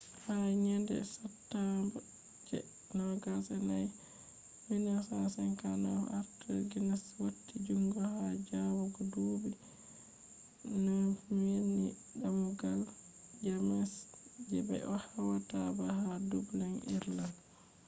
ha yende satumba je 24 1759 arthur guinness wati jungo ha jabugo duubi 9000 ni damugal st james je be hautata baal ha dublin ireland